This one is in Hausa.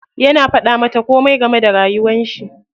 Yana faɗa mata komai game da rayuwar shi.